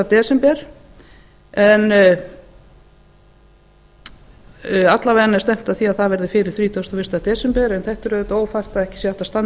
desember en alla vega er stefnt að því að það verði fyrir þrítugasta og fyrsta desember en þetta er auðvitað ófært að ekki sé hægt að standa